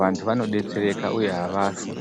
vantu vanodetsereka uye havafi.